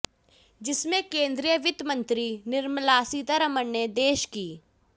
जिसमें केंद्रीय वित्त मंत्री निर्मला सीतारमण ने देश की